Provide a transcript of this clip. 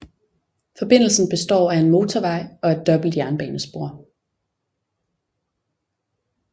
Forbindelsen består af en motorvej og et dobbelt jernbanespor